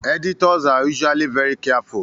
Editors are usually very careful